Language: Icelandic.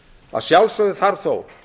að sjálfsögðu þarf þó